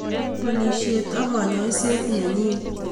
banishet ak kanyoset nenyii